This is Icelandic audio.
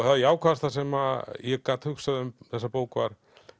það jákvæðasta sem ég gat hugsað um þessa bók var